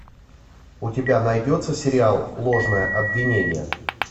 у тебя найдется сериал ложное обвинение